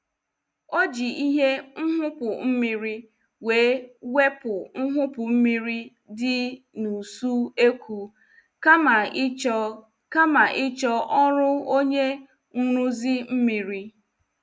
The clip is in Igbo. Ọ ji ihe nhupu mmiri wee wepụ nhupu mmiri dị n' uso ekwu kama ịchọ kama ịchọ ọrụ onye nruzi mmiri.